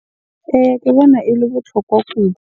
Eya, ke bona ele botlhokwa .